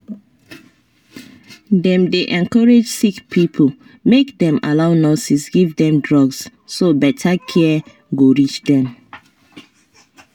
dem dey encourage sick people make dem allow nurses give them drugs so better care go reach them.